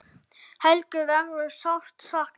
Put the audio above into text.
Helgu verður sárt saknað.